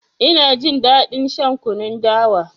Ina jin daɗin shan kunun dawa.